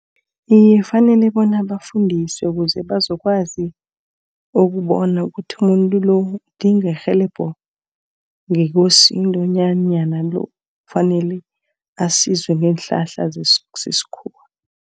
Iye kufanele bona bafundiswe ukuze bazokwazi ukubona ukuthi umuntu lo udinga irhelebho ngoKosini bonyana lo kufanele asize ngeenhlahla zesikhuwa